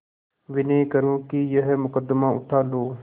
विनय करुँ कि यह मुकदमा उठा लो